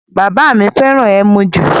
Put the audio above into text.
Bàbá mi fẹ́ràn ẹmu ju